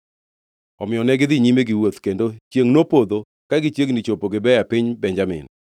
Omiyo negidhi nyime giwuoth, kendo chiengʼ nopodho ka gichiegni chopo Gibea e piny Benjamin.